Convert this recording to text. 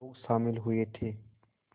लोग शामिल हुए थे